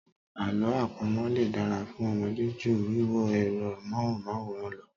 Àlọ́ àpamọ̀ lè dára fún Ọmọdé ju wíwo ẹ̀rọ Amóhùnmáwòrán lọ.